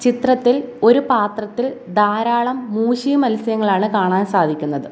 ചിത്രത്തിൽ ഒരു പാത്രത്തിൽ ധാരാളം മൂഷി മത്സ്യങ്ങളാണ് കാണാൻ സാധിക്കുന്നത്.